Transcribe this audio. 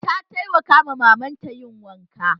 Ta taimaka wa mamanta yin wanki